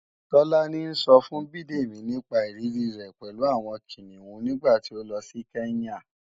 Tọ́lání ńsọ fún Bidemi nípa ìrírí rẹ̀ pẹ̀lú àwọn Kìnìún nígbàtí ó lọ sí Kenya